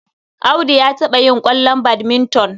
Audu ya taɓa yin ƙwallon badminton.